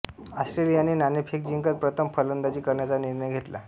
ऑस्ट्रेलियाने नाणेफेक जिंकत प्रथम फलंदाजी करण्याचा निर्णय घेतला